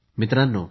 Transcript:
मित्रांनो